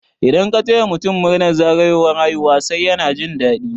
Idan ka taya mutun murnar zagayowar haihuwar sa yana jin dadi